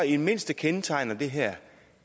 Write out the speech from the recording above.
i det mindste kendetegner det her